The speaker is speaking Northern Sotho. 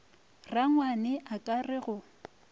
rangwane a ka re go